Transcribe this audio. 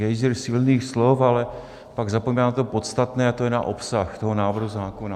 Gejzír silných slov, ale pak zapomíná na to podstatné, a to je na obsah toho návrhu zákona.